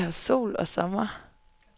Vi har sol og sommer.